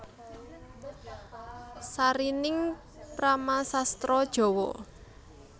Sarining Paramasastra Djawa